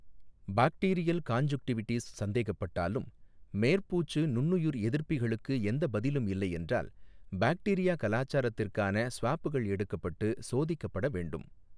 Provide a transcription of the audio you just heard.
Bacterial conjunctivitis சந்தேகப்பட்டாலும், மேற்பூச்சு நுண்ணுயிர் எதிர்ப்பிகளுக்கு எந்த பதிலும் இல்லை என்றால், பாக்டீரியா கலாச்சாரத்திற்கான ஸ்வாப்கள் எடுக்கப்பட்டு சோதிக்கப்பட வேண்டும்.